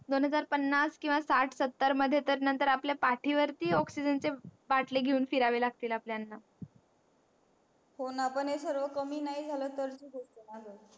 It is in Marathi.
दोन हजार पन्नास किंवा साठ सत्तर मध्ये तर नंतर आपल्या पाठी वरती oxygen चे बाटले घेऊन फिरावे लागतील आपल्याना हो ना पण हे सर्व कमी नाही झालं तर ची गोष्ट ना ग